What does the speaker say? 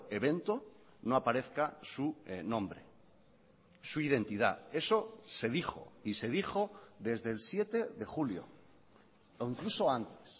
evento no aparezca su nombre su identidad eso se dijo y se dijo desde el siete de julio o incluso antes